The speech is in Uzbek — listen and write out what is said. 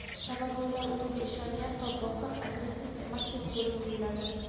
sababi ular o‘ziga ishongan va bosiq (agressiv emasdek) bo‘lib tuyuladi.